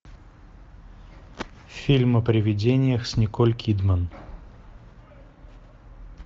фильм о приведениях с николь кидман